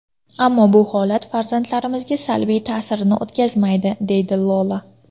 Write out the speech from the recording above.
Ammo bu holat farzandlarimizga salbiy ta’sirini o‘tkazmaydi”, dedi Lola.